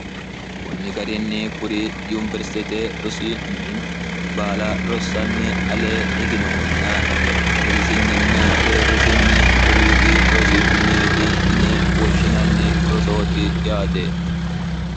kunni garinni kuri yuniwersitete rosimini baala rossanni alee higinohunna dirisinninna deerrisinni lowiidi rosimineeti ine woshshinanni rosooti yaate